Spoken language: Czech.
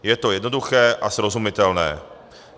Je to jednoduché a srozumitelné.